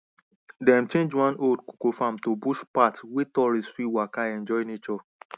dem change one old cocoa farm to bush path wey tourists fit waka enjoy nature